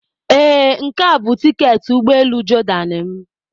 Ee, nke a bụ tiketi ụgbọ elu Jordan m.